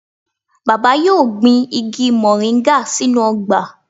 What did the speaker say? Baba yoo gbin igi moringa sinu ogba.